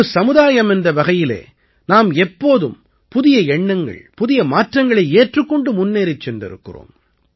ஒரு சமுதாயம் என்ற வகையிலே நாம் எப்போதும் புதிய எண்ணங்கள் புதிய மாற்றங்களை ஏற்றுக் கொண்டு முன்னேறிச் சென்றிருக்கிறோம்